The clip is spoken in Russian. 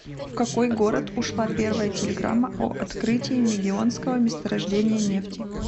в какой город ушла первая телеграмма о открытии мегионского месторождения нефти